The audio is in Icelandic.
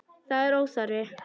Það er óþarfi.